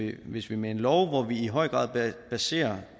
at hvis vi med en lov hvor vi i høj grad baserer